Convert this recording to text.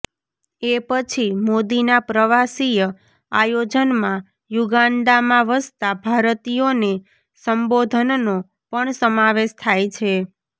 એ પછી મોદીના પ્રવાસીય આયોજનમાં યુગાન્ડામાં વસતા ભારતીયોને સંબોધનનો પણ સમાવેશ થાય છે